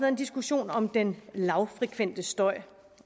en diskussion om den lavfrekvente støj